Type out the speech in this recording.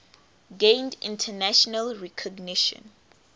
gained international recognition